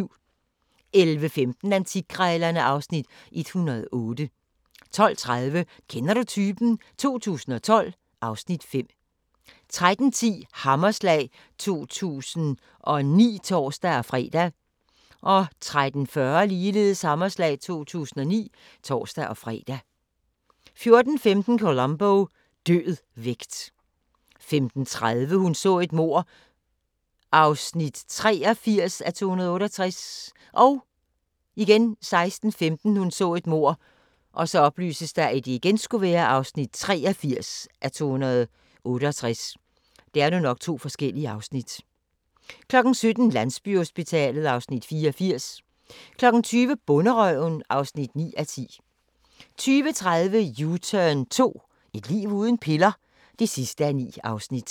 11:15: Antikkrejlerne (Afs. 108) 12:30: Kender du typen? 2012 (Afs. 5) 13:10: Hammerslag 2009 (tor-fre) 13:40: Hammerslag 2009 (tor-fre) 14:15: Columbo: Død vægt 15:30: Hun så et mord (83:268) 16:15: Hun så et mord (83:268) 17:00: Landsbyhospitalet (Afs. 84) 20:00: Bonderøven (9:10) 20:30: U-turn 2 - et liv uden piller? (9:9)